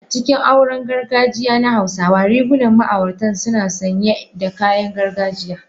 A cikin auren gargajiya na hausawa, rigunan ma'auratan suna sanye da kayan gargajiya.